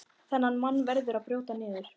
Þennan mann verður að brjóta niður.